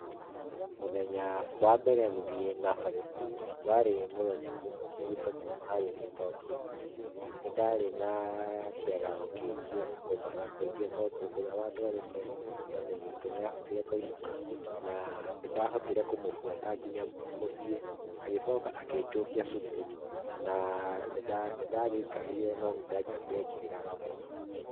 Mũthenya wa mbere gũthie Nursery School, warĩ mũthenya ũmwe mũritũ harĩ niĩ tondũ nĩ ndarĩ na kĩagago kĩingĩ na kũmaka kũingĩ tondũ ũria wandũarĩte, mami witũ nĩ ahotire kũinũka na nĩ ndahotire kũmũbũata nginya mũciĩ agĩcoka akĩjokia cũkuru na nĩ ndagĩikarire no nĩ ndaĩkarire ngĩrĩraga mũno.